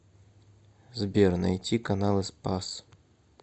сбер найти каналы спас